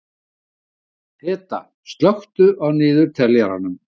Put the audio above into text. Peta, slökktu á niðurteljaranum.